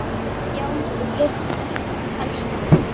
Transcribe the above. Já maður, ég elska hann.